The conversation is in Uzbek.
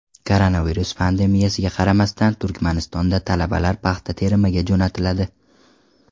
Koronavirus pandemiyasiga qaramasdan Turkmanistonda talabalar paxta terimiga jo‘natiladi.